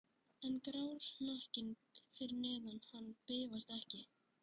En grár hnakkinn fyrir neðan hann bifast ekki.